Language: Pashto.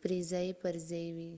پرې ځای پر ځای شي